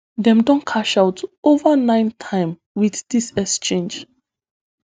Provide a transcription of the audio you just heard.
dem don cash out ova ninetym wit dis echange